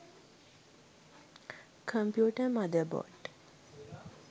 computer mother board